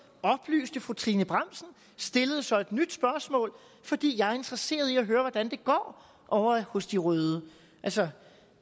oplyste fru trine bramsen stillede så et nyt spørgsmål fordi jeg er interesseret i at høre hvordan det går ovre hos de røde altså